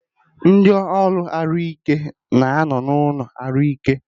Ndị ọrụ ahụike na anọ n'ụlọ ahụike